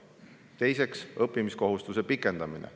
Teiseks, õppimiskohustuse pikendamine.